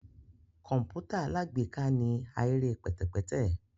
Kọǹpútà alágbèéká ni ahere pẹtẹpẹtẹ